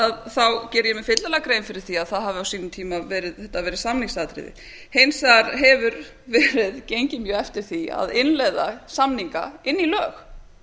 að þá geri ég mér fyllilega grein fyrir því að þetta hafi á sínum tíma verið samningsatriði hins vegar hefur verið gengið mjög eftir því að innleiða samninga inn í lög og